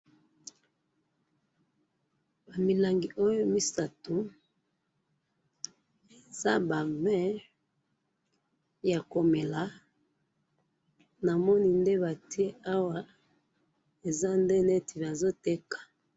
ba milangi oyo misatu eza ba vin ya komela namoni ndenge batiye awa baza neti bazo teka